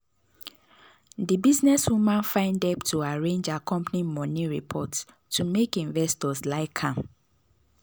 the businesswoman find help to arrange her company money report to make investors like am.